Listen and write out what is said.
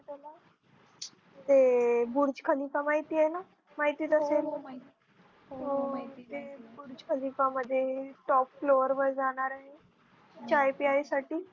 ते Burj Khalifa माहित आहे ना हो ते बुर्ज खलिफा मध्ये Top floor वर जाणार आहे. चाय प्यायसाठी.